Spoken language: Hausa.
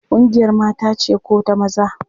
Ƙungiyar mata ce ko da maza?